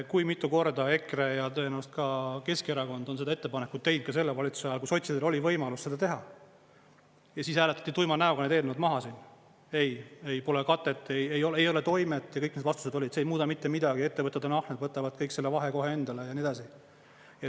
Kui mitu korda EKRE ja tõenäoliselt ka Keskerakond on seda ettepanekut teinud ka selle valitsuse ajal, kui sotsidel oli võimalus seda teha, siis hääletati tuima näoga need eelnõud maha siin: ei, pole katet, ei ole toimet ja kõik vastused olid, et see ei muuda mitte midagi, ettevõtted on ahned, võtavad kõik selle vahe kohe endale ja nii edasi.